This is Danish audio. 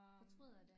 Fortryder det